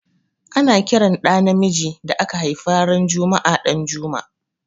Ana ƙiran ɗa namijin da aka haifa ran juma'a Danjuma.